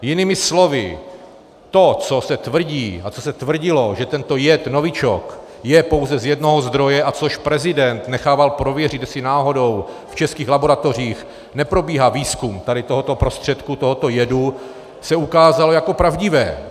Jinými slovy to, co se tvrdí a co se tvrdilo, že tento jed novičok je pouze z jednoho zdroje, a což prezident nechával prověřit, jestli náhodou v českých laboratořích neprobíhá výzkum tady tohoto prostředku, tohoto jedu, se ukázalo jako pravdivé.